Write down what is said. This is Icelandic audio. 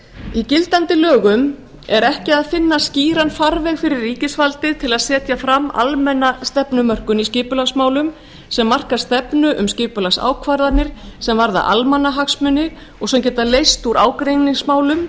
í gildandi lögum er ekki að finna skýran farveg fyrir ríkisvaldið til að setja fram almenna stefnumörkun í skipulagsmálum sem marka stefnu um skipulagsákvarðanir sem varða almannahagsmuni og sem geta leyst úr ágreiningsmálum